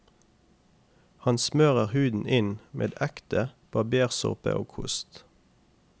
Han smører huden inn med ekte barbersåpe og kost.